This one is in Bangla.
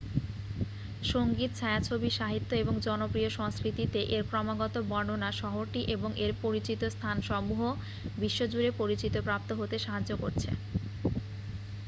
সংগীত ছায়াছবি সাহিত্য এবং জনপ্রিয় সংস্কৃতিতে এর ক্রমাগত বর্ণনা শহরটি এবং এর পরিচিত স্থানসমূহ বিশ্বজুড়ে পরিচিতপ্রাপ্ত হতে সাহায্য করছে